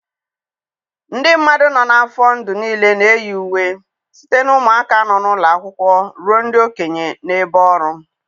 Ndị mmadụ nọ n'afọ ndụ niile na-eyi uwe, site na ụmụaka nọ n'ụlọ akwụkwọ ruo ndị okenye n'ebe ọrụ.